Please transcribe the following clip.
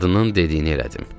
Qadının dediyini elədim.